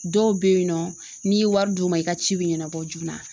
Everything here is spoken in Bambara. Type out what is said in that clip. Dɔw be yen nɔ n'i ye wari d'u ma i ka ci bi ɲɛnabɔ joona